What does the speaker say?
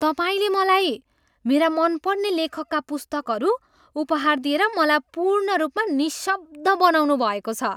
तपाईँले मलाई मेरा मनपर्ने लेखकका पुस्तकहरू उपहार दिएर मलाई पूर्ण रूपमा निशब्द बनाउनुभएको छ!